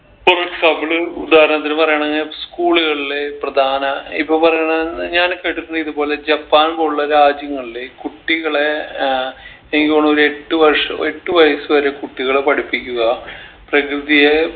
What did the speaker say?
ഇപ്പൊരു struggle ഉദാഹരണത്തിന് പറയാണെങ്കിൽ school കളിലെ പ്രധാന ഇപ്പൊ പറയണ ഞാന് കേട്ടിട്ടിണ്ട് ഇതുപോലെ ജപ്പാൻ പോലുള്ള രാജ്യങ്ങളിലെ കുട്ടികളെ ഏർ എനിക്ക് തോണൊര് എട്ട് വർഷം എട്ട് വയസ്സ് വരെ കുട്ടികളെ പഠിപ്പിക്കുക പ്രകൃതിയെ